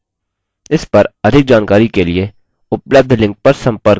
इस पर अधिक जानकारी के लिए उपलब्ध link पर संपर्क करें